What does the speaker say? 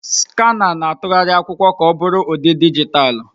Skanà na-atụgharị akwụkwọ ka ọ bụrụ ụdị dijitalụ.